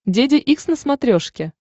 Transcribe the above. деде икс на смотрешке